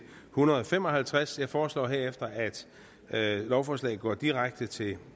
hundrede og fem og halvtreds jeg foreslår herefter at lovforslagene går direkte til